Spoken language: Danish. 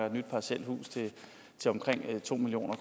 et nyt parcelhus til omkring to million